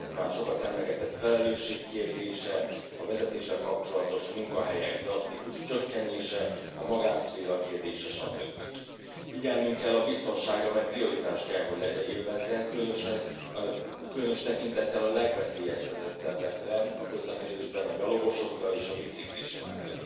a már sokat emlegetett felelősség kérdése, a vezetéssel kapcsolatos munkahelyek drasztikus csökkenése, a magánszféra kérdése, stb. Figyelnünk kell a biztonságra, amely prioritást kell, hogy élvezzen, különös tekintettel a legveszélyeztetettebbekre a közlekedésben a gyalogosokra és a biciklistákra.